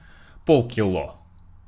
полкило